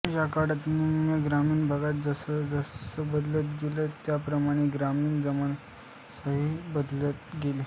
या काळात निम्न ग्रामीण भाग जसजसा बदलत गेला त्या प्रमाणात ग्रामीण जनमानसही बदलत गेले